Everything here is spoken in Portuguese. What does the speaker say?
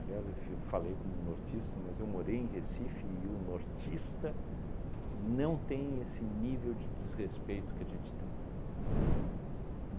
Aliás, eu f eu falei com um nortista, mas eu morei em Recife e o nortista não tem esse nível de desrespeito que a gente tem.